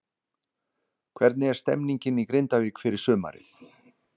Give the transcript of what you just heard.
Hvernig er stemmingin í Grindavík fyrir sumarið?